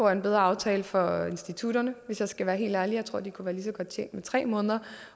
en bedre aftale for institutterne hvis jeg skal være helt ærlig jeg tror at de kunne være lige så godt tjent med tre måneder